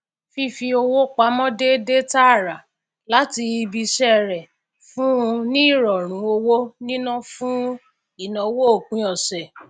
fífi owó pamọ déédé tààrà láti ibi iṣẹ rẹ fún un ní ìrọrùn owó niná fún ìnáwó òpin ọsẹ